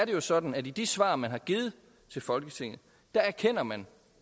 jo sådan at i de svar man har givet til folketinget erkender man